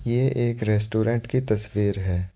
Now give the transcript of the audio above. ये एक रेस्टोरेंट की तस्वीर है।